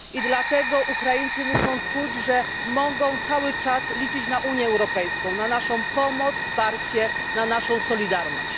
Dlatego Ukraińcy muszą czuć, że mogą cały czas liczyć na Unię Europejską, na naszą pomoc, wsparcie, na naszą solidarność.